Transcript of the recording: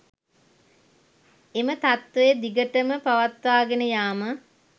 එම තත්වය දිගටම පවත්වාගෙන යාම